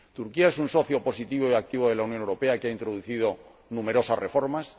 Turquía es un socio positivo y activo de la Unión Europea que ha introducido numerosas reformas